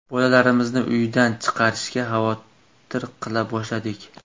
Bolalarimizni uydan chiqarishga xavotir qila boshladik.